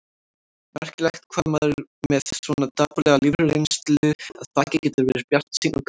Merkilegt hvað maður með svona dapurlega lífsreynslu að baki getur verið bjartsýnn og kátur.